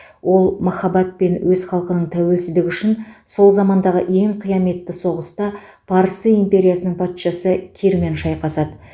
ол махаббат пен өз халқының тәуелсіздігі үшін сол замандағы ең қияметті соғыста парсы империясының патшасы кирмен шайқасады